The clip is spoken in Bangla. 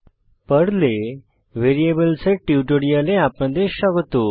পার্ল পর্ল এ ভ্যারিয়েবলস ভ্যারিয়েবল এর টিউটোরিয়ালে আপনাদের স্বাগত